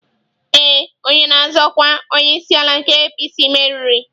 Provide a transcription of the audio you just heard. Ee, onye na-azọ ọkwa onyeisiala nke APC meriri.